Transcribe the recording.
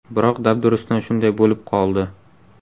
Biroq dabdurustdan shunday bo‘lib qoldi.